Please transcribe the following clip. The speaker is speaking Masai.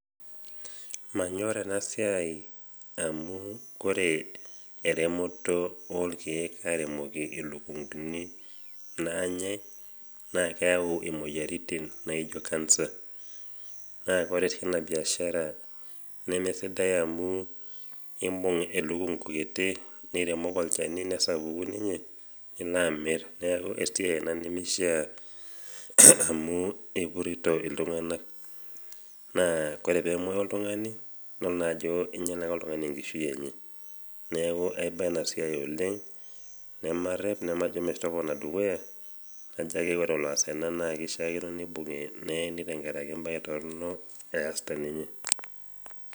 Manyorr ena siai amu kore eremoto olkeek aremoki ilukunguni naanyai naakeyau imoyaritin naijo  kansa. Naa kore tina biashara nemesidai amu imbung elukungu kiti niremoki olchani nesapuku ninye niloamirr neaku esiai ina nemishiaa amu ipurrito iltung'anak. Naa kore peemuoyu oltung'ani idol naa ajoo inyalaka oltung'ani enkishui enye. Neaku aiba ena siai oleng' nemarrep nemajo metopona dukuya nchaake ore oloas ena naakeishiakino neibung'i neeni tengarake embae torrino easita ninye.